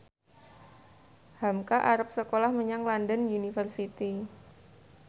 hamka arep sekolah menyang London University